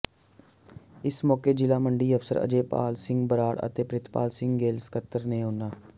ਇਸ ਮੌਕੇ ਜ਼ਿਲ੍ਹਾ ਮੰਡੀ ਅਫਸਰ ਅਜੇਪਾਲ ਸਿੰਘ ਬਰਾੜ ਤੇ ਪਿ੍ਰਤਪਾਲ ਸਿੰਘ ਗਿੱਲ ਸਕੱਤਰ ਨੇ ਉਨ੍ਹਾਂ